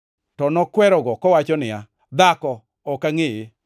To nokwerogo, kowacho niya, “Dhako, ok angʼeye!”